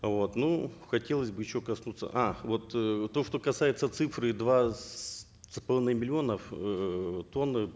вот ну хотелось бы еще коснуться а вот э то что касается цифры два с половиной миллионов эээ тонн э